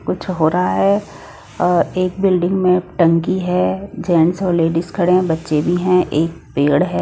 कुछ हो रहा है अ एक बिल्डिंग में टंकी है जेंट्स और लेडीज खड़े हैं बच्चे भी हैं एक पेड़ है।